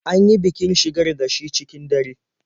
An yi bikin shigar da shi cikin dare.